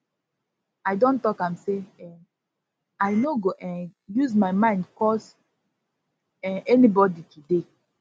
i don talk am sey um i no go um use my mind curse um anybodi today